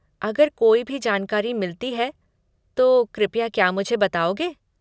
अगर कोई भी जानकारी मिलती है तो कृपया क्या मुझे बताओगे?